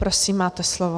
Prosím, máte slovo.